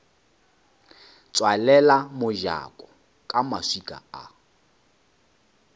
tswalela mojako ka maswika a